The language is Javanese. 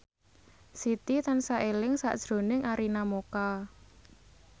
Siti tansah eling sakjroning Arina Mocca